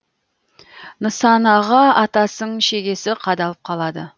нысанаға атасың шегесі қадалып қалады